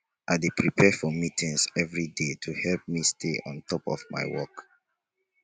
i dey prepare for meetings every day to help me stay on top of my work